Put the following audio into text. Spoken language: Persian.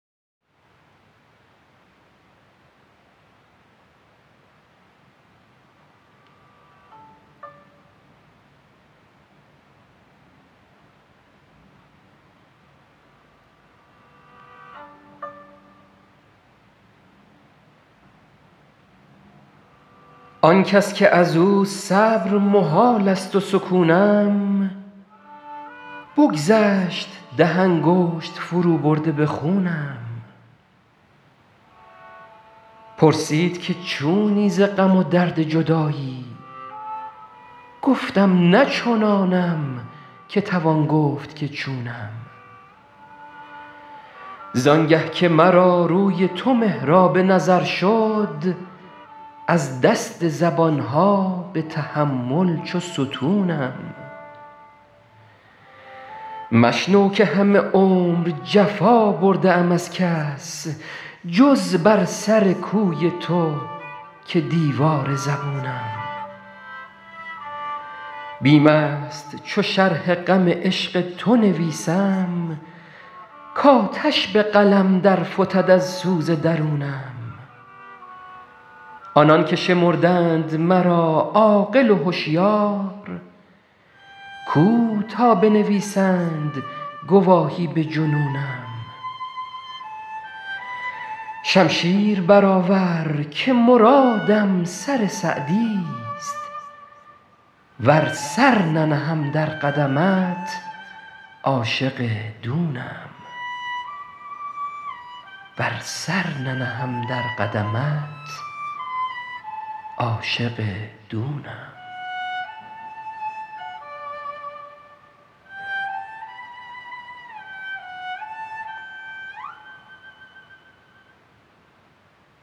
آن کس که از او صبر محال است و سکونم بگذشت ده انگشت فروبرده به خونم پرسید که چونی ز غم و درد جدایی گفتم نه چنانم که توان گفت که چونم زان گه که مرا روی تو محراب نظر شد از دست زبان ها به تحمل چو ستونم مشنو که همه عمر جفا برده ام از کس جز بر سر کوی تو که دیوار زبونم بیم است چو شرح غم عشق تو نویسم کآتش به قلم در فتد از سوز درونم آنان که شمردند مرا عاقل و هشیار کو تا بنویسند گواهی به جنونم شمشیر برآور که مرادم سر سعدیست ور سر ننهم در قدمت عاشق دونم